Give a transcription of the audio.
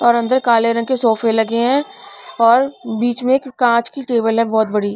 और अंदर काले रंग के सोफे लगे हैं और बीच में एक कांच की टेबल है बहुत बड़ी--